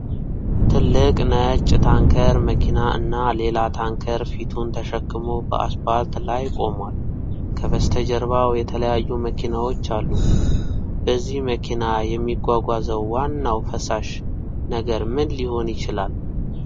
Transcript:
ትልቅ ነጭ ታንከር መኪና እና ሌላ ታንከር ፊቱን ተሸክሞ በአስፓልት ላይ ቆሟል። ከበስተጀርባው የተለያዩ መኪናዎች አሉ፤ በዚህ መኪና የሚጓጓዘው ዋናው ፈሳሽ ነገር ምን ሊሆን ይችላል?